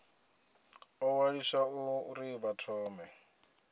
ḓo ṅwaliswa uri vha thome